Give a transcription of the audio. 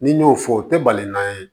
N'i y'o fɔ o tɛ baliman ye